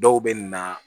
Dɔw bɛ na